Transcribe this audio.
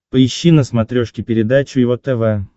поищи на смотрешке передачу его тв